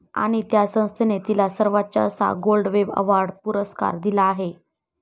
आणि त्या संस्थेने तिला सर्वोच्च असा गोल्ड वेब अवॉर्ड पुरस्कार दिला आहे.